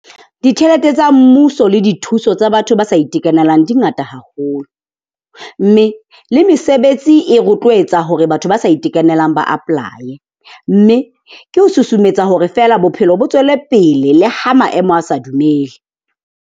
Ditjhelete tsa mmuso le dithuso tsa batho ba sa itekanelang di ngata haholo. Mme le mesebetsi e rotlwetsa hore batho ba sa itekanelang ba apply-e. Mme ke ho susumetsa hore feela bophelo bo tswele pele le ha maemo a sa dumele.